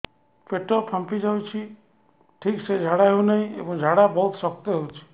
ପେଟ ଫାମ୍ପି ଯାଉଛି ଠିକ ସେ ଝାଡା ହେଉନାହିଁ ଏବଂ ଝାଡା ବହୁତ ଶକ୍ତ ହେଉଛି